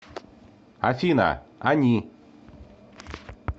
афина они